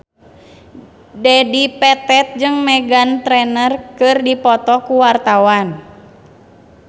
Dedi Petet jeung Meghan Trainor keur dipoto ku wartawan